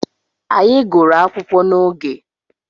Anyị gụrụ akwụkwọ n'oge.